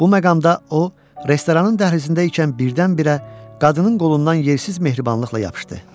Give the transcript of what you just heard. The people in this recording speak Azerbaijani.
Bu məqamda o, restoranın dəhlizindəykən birdən-birə qadının qolundan yersiz mehribanlıqla yapışdı.